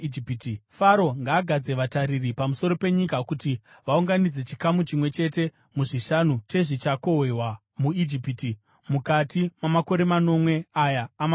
Faro ngaagadze vatariri pamusoro penyika kuti vaunganidze chikamu chimwe chete muzvishanu chezvichakohwewa muIjipiti mukati mamakore manomwe aya amaguta.